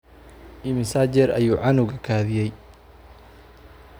Immisa jeer ayuu canuga kadiyay?